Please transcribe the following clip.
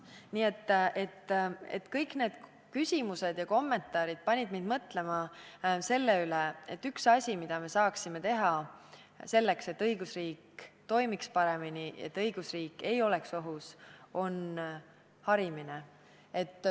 Nii et kõik need küsimused ja kommentaarid panid mind mõtlema selle üle, et üks asi, mida me saaksime teha selleks, et õigusriik toimiks paremini ega oleks ohus, on harimine.